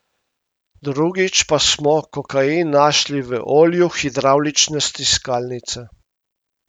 Drugič pa smo kokain našli v olju hidravlične stiskalnice.